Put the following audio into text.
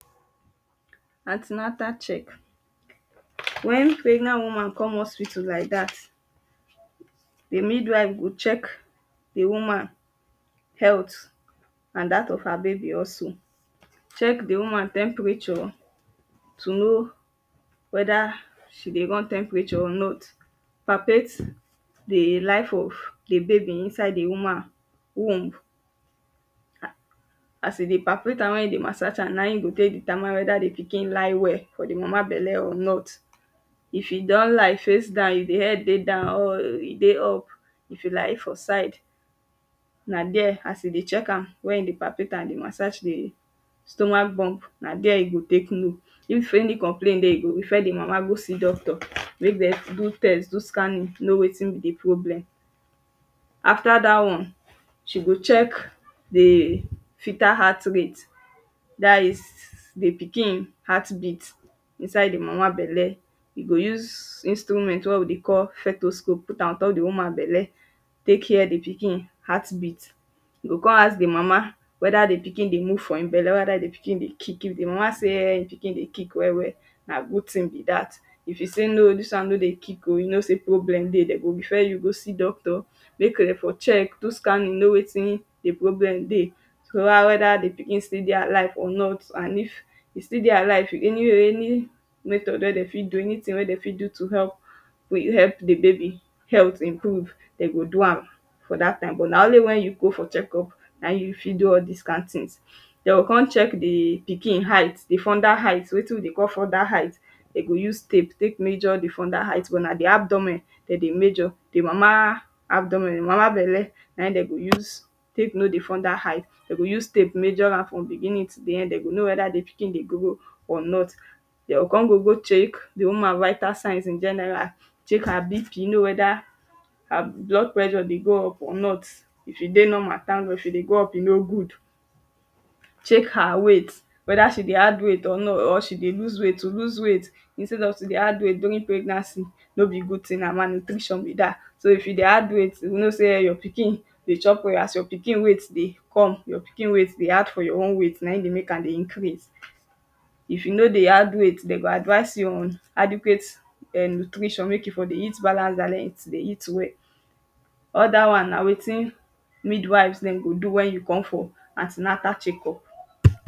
An ten atal check when pregnant woman come hospiatal like dat the mid-wife go check the woman health and that of her baby also. Check the woman temperature to know whether she go run temperature or not. Perfect the life of the baby inside the woman womb As e dey perfect am, when e dey massage am, na im you go take know whether the pikin lie well for the mama belle or not. If you don lie face down if the head dey down or e dey up. If you lie e for side, na dere as you dey check am na im you dey perfect am dey massage the stomach bump. Na dere you go take know. If any complain dey you go refer the mama go see doctor. Make dem do test do scanning know wetin be the problem. After dat one she go check the filter heart rate. Dat is the pikin heart beat inside the mama belle. You go use instrument wey we dey call stethoscope put am on top the woman belle. Take hear the pikin heart beat. You go con ask the mama whether the pikin dey move for im belle Whether the pikin dey kick. If the mama say um the pikin dey kick well well. Na good thing be dat. If you say no um dis one no dey kick um. You go know sey problem dey. De go refer you go see doctor, make dem for check. Do scanning know wetin the problem be. To know whether the pikin still dey alive or not. If e still dey alive any or any method dere de fit do anything dem fit do to help to help the baby health improve. De go do am for dat time but na only when you go for check-up na im you fit do all dis kind thing. De con check the pikin height. The fundal height wetin they call fundal height. Dem go use scale take measure the fundal height but na the abdomen dem dey major. The mama abdomen the mama belle na im de dey use take know the fundal height. De go use tape take measure am from beginning to the end. De go know whether the pikin dey grow or not. De con go go check the woman vital sign in general. Check her BP no whether her blood pressure dey go up or not. If e dey normal thank God. If e dey go up, e no good. Check her weight, whether she dey add weight or she dey lose weight. To lose weight instead of to dey add weight during pregnancy, no be good thing. Na mal-nutrition be dat. So if you dey add weight, you go know sey um your pikin dey chop well as your pikin weight dey come. Your pikin weight dey add for your own weight. Na im dey make am dey increase um. If you no dey add weight, dem go advise you on adequate ern nutrition. Make you for dey eat balance diet dey eat well. Other one na wetin wid-wives dem go do when you come for an ten atal check-up.